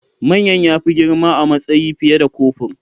Manyan ya fi girma a matsayi fiye da kofur